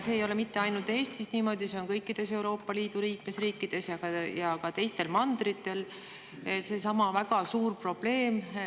See ei ole ainult Eestis niimoodi, see on kõikides Euroopa Liidu liikmesriikides ja ka teistel mandritel väga suur probleem.